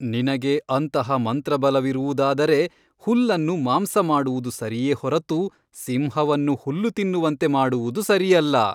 ನಿನಗೆ ಅಂತಹ ಮಂತ್ರಬಲವಿರುವುದಾದರೆ ಹುಲ್ಲನ್ನು ಮಾಂಸ ಮಾಡುವುದು ಸರಿಯೇ ಹೊರತು ಸಿಂಹವನ್ನು ಹುಲ್ಲು ತಿನ್ನುವಂತೆ ಮಾಡುವುದು ಸರಿಯಲ್ಲ.